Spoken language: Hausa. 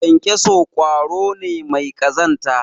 kyankyaso kwaro ne mai kazanta